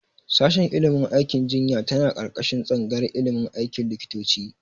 Shashin ilimin aikin jinya tana ƙarƙashin tsangayar ilimin aikin likitoci.